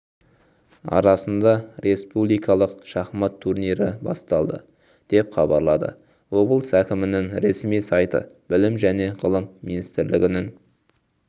арасында республикалық шахмат турнирі басталды деп хабарлады облыс әкімінің ресми сайты білім және ғылым министрлігінің